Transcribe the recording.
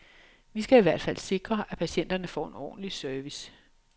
Vi skal i hvert fald sikre, at patienterne får en ordentlig service.